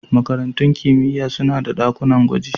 Makarantun kimiyya suna da ɗakunan gwaji.